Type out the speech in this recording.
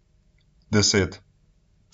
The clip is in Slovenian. Deset.